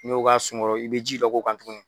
N'i y'o k'a sun kɔrɔ i bɛ ji dɔ k'o kan tugun